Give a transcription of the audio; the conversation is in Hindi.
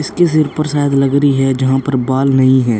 इस के सिर पर शायद लग रही है जहाँ पर बाल नहीं है।